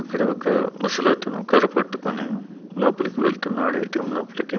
ఇక్కడ ఒక ముసలతను కర్ర పట్టుకుని లోపలికి వెళ్తున్నాడు ఏ_టీ_ఎం లోపలికి.